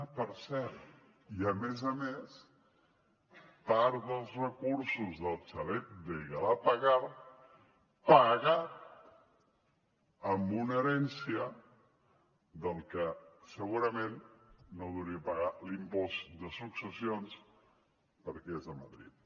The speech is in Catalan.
ah per cert i a més a més part dels recursos del xalet de galapagar pagat amb una herència del que segurament no deuria pagar l’impost de successions perquè és a madrid